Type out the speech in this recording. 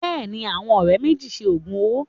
Bẹ́ẹ̀ ni, àwọn ọ̀rẹ́ méjì ṣe òògùn owó